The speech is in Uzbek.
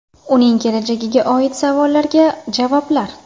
Uning kelajagiga oid savollarga javoblar.